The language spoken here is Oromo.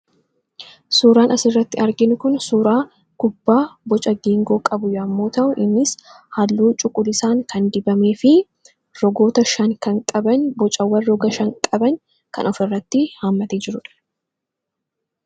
Suuraan asirratti arginu, suuraa kubbaa boca geengoo qabu yemmuu ta'u innis halluu cuquliisaan kan dibamee fi rogoota shan kan qaban bocaawwan roga shan kan qaban kan ofirratti hammatee jiruudha.